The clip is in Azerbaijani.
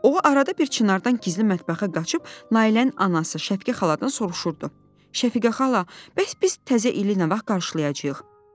O arada bir Çinardan gizli mətbəxə qaçıb Nailənin anası Şəfiqə xaladan soruşurdu: "Şəfiqə xala, bəs biz təzə ili nə vaxt qarşılayacağıq?"